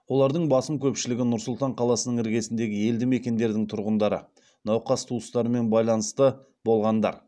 олардың басым көпшілігі нұр сұлтан қаласының іргесіндегі елді мекендердердің тұрғындары науқас туыстарымен байланысты болғандар